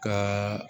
Ka